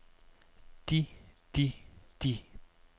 de de de